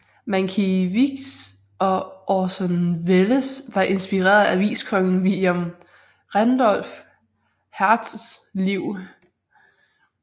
Mankiewicz og Orson Welles var inspireret af aviskongen William Randolph Hearsts liv